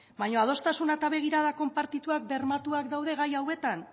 baina adostasuna eta begirada konpartituak bermatuak daude gai hauetan